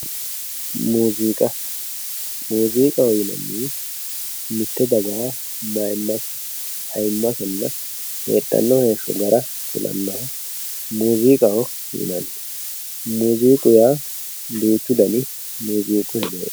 muuziiqa, muuziiqaho yinannihu mitte dagaha mayyiimmasenna ayiimase heedhanno heeshsho gara kulannoha muuziqaho yinanni, muuziiqu yaa duuchu dani muuziiqu